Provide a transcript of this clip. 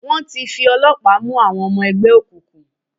Wọ́n ti fi ọlọ́pàá mú àwọn ọmọ ẹgbẹ́ òkùnkùn.